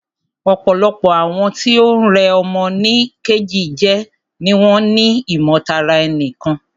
Ọ̀pọ̀lọpọ̀ àwọn tí o ń rẹ́ ọmọ nì Kejì jẹ ni wọ́n ni ìmọ̀ tara ẹni nìkan.